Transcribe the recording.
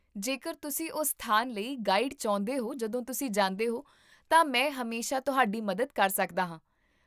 ਜੇਕਰ ਤੁਸੀਂ ਉਸ ਸਥਾਨ ਲਈ ਗਾਈਡ ਚਾਹੁੰਦੇ ਹੋ ਜਦੋਂ ਤੁਸੀਂ ਜਾਂਦੇ ਹੋ, ਤਾਂ ਮੈਂ ਹਮੇਸ਼ਾ ਤੁਹਾਡੀ ਮਦਦ ਕਰ ਸਕਦਾ ਹਾਂ